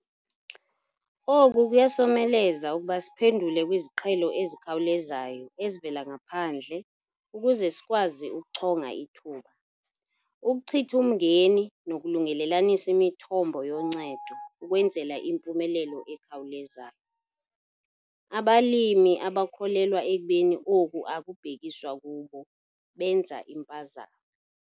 Oku kuyasomeleza ukuba siphendule kwiziqhelo ezikhawulezayo ezivela ngaphandle ukuze sikwazi ukuchonga ithuba, ukuchitha umngeni nokulungelelanisa imithombo yoncedo ukwenzela impumelelo ekhawulezayo. Abalimi abakholelwa ekubeni oku akubhekiswa kubo, benza impazamo.